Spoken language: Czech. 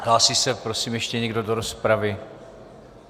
Hlásí se prosím ještě někdo do rozpravy?